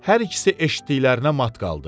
Hər ikisi eşitdiklərinə mat qaldı.